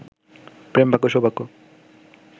প্রেমভাগ্য সৌভাগ্য